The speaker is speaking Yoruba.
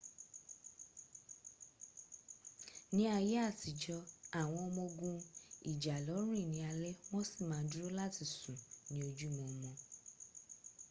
ní àyè àtijọ́ àwọn ọmọ ogun ìjàlọ rìn ní alé wọ́n sí ma dúró láti sùn ní ojú mọmọ